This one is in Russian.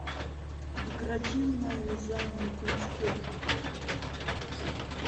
декоративное вязание крючком